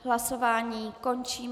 Hlasování končím.